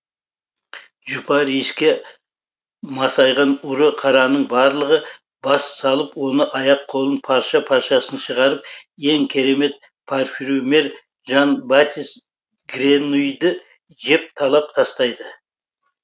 жұпар иіске масайған ұры қараның барлығы бас салып оны аяқ қолын парша паршасын шығарып ең керемет парфюмер жан батис гренуйді жеп талап тастайды